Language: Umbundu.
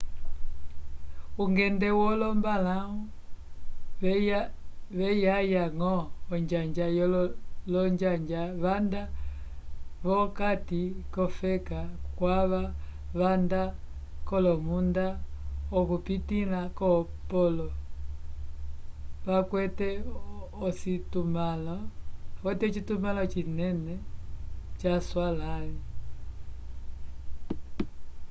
ungende wolombalãwu veyaya ñgo onjanja l'onjanja vanda v'okati k'ofeka kwava vanda k'olomunda okupitĩla ko polo vakwete ocitumãlo cinene caswalãli